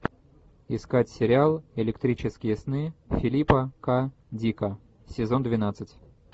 искать сериал электрические сны филипа к дика сезон двенадцать